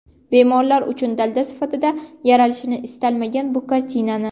Bemorlar uchun dalda sifatida yaralishini istaganman bu kartinani.